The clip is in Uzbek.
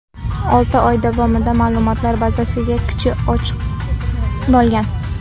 Olti oy davomida ma’lumotlar bazasiga kirish ochiq bo‘lgan.